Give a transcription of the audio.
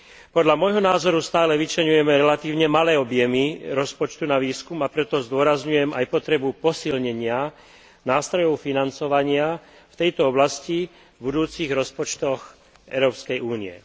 Podľa môjho názoru stále vyčleňujeme relatívne malé objemy rozpočtu na výskum, a preto zdôrazňujem aj potrebu nástrojov financovania v tejto oblasti v budúcich rozpočtoch Európskej únie.